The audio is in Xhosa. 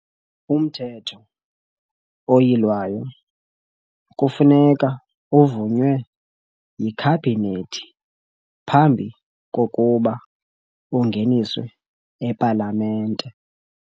UMthetho oYilwayo kufuneka uvunywe yiKhabhinethi phambi kokuba ungeniswe ePalamente.